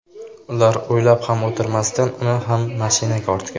Ular o‘ylab ham o‘tirmasdan uni ham mashinaga ortgan.